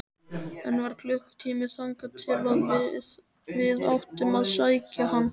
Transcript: Enn var klukkutími þangað til við áttum að sækja hana.